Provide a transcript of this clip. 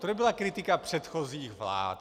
To nebyla kritika předchozích vlád.